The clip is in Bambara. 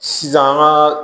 Sisan an ka